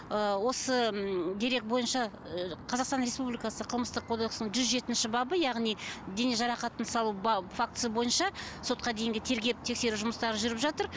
ыыы осы м дерек бойынша ыыы қазақстан республикасы қылмыстық кодексінің жүз жетінші бабы яғни дене жарақатын салу фактісі бойынша сотқа дейінгі тергеп тексеру жұмыстары жүріп жатыр